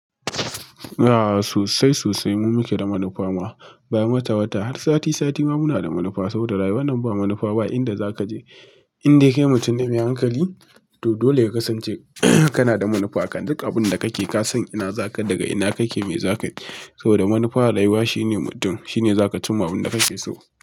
A'a sosai sosai mu muke da manufa ma, bayan wata wata har sati sati ma muna da manufa. Saboda rayuwa nan ba manufa ba inda za ka je. Inda kai mutum ne mai hankali to dole ya kasance ka na da manufa. Duk abun da ka ke ka san ina za ka daga ina ka ke mai za ka je. Saboda manufa a rayuwa shine mutum shine za ka ci ma abin da ka fi so.